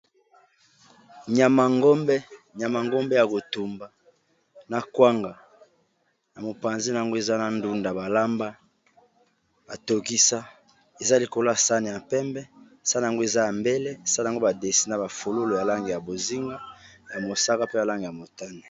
Nyama ya ngombe ya kotumba na kwanga, na mopanzi na yango eza na ndunda balamba, batokisa, eza likolo ya saani ya pembe, saani yango eza ya mbele, saani yango badessina ba fololo ya langi ya bozinga, ya mosaka, pe na langi ya motane.